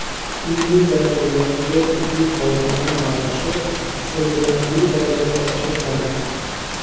Ilmiy darajaga ega tibbiy xodimlar maoshi sezilarli darajada oshiriladi.